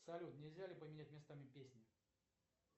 салют нельзя ли поменять местами песни